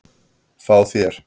Fá þá?